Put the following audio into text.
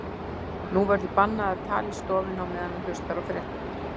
Nú verður bannað að tala í stofunni á meðan hann hlustar á fréttirnar.